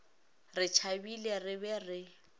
re tšhabile re be re